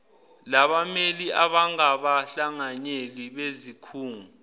labameli abangabahlanganyeli bezikhungo